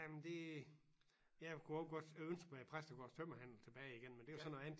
Jamen det jeg kunne i øvrigt godt ønske mig Præstegårds tømmerhandel tilbage igen men det jo så noget